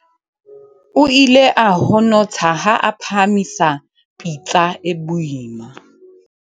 o ile a honotha ha a phahamisa pitsa e boima